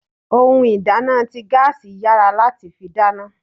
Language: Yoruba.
Ohun ìdáná ti gaasi yára láti fi dáná.